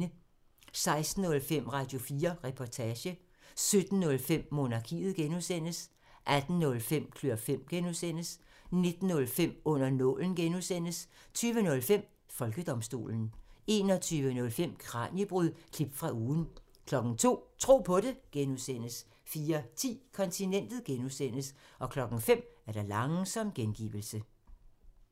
16:05: Radio4 Reportage 17:05: Monarkiet (G) 18:05: Klør fem (G) 19:05: Under nålen (G) 20:05: Folkedomstolen 21:05: Kraniebrud – klip fra ugen 02:00: Tro på det (G) 04:10: Kontinentet (G) 05:00: Langsom gengivelse